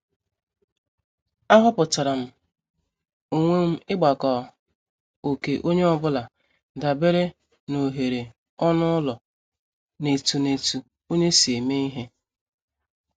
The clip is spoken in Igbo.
Aghoputaram onwe m igbako oké onye ọ bụla dabere n' oghere ọnụ ụlọ na etu na etu onye si eme ihe.